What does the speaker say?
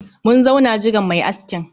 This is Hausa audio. Mun zauna jiran mai askin